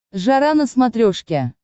жара на смотрешке